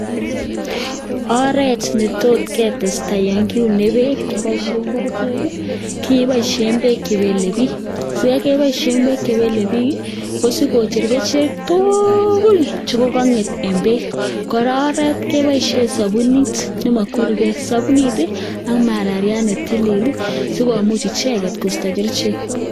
Oret ne tot ketesta yon kiune beek keboishen kerichek ii, keboishen beek che belebik. Sikai keboishen beek che belebiik ii, ko sikocher kerichek tugul che kong'et en beek. Kora oret age keboishen sobunit nemokweruge, sobunit ii ak marariat ne tilil si komuch icheget kosto kerichek.